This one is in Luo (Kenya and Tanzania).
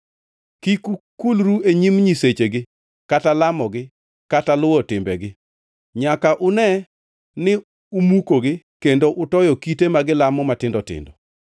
Kik ukulru e nyim nyisechegi kata lamogi kata luwo timbegi. Nyaka une ni umukogi kendo utoyo kite ma gilamo matindo tindo.